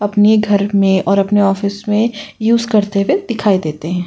अपने घर में और अपने ऑफिस में यूस करते हुए दिखाई देते हैं।